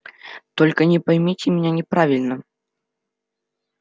только не поймите меня неправильно